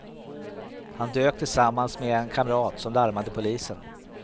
Han dök tillsammans med en kamrat som larmade polisen.